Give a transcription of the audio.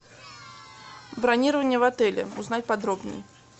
бронирование в отеле узнать подробнее